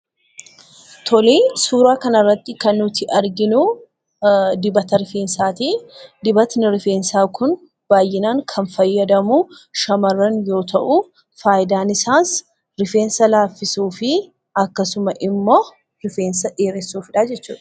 Suuraa kanarratti kan nuti arginu dibata rifeensaati. Dibatni rifeensaa kun baay'inaan kan fayyadamu shamarran yoo ta'u, fayidaan isaas rifeensa laaffisuu fi akkasumas immoo rifeensa dheeressuufidha jechuudha.